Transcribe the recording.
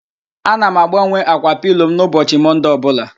Ana m agbanwe ákwà pilo m n'ụbọchị Mọnde ọbụla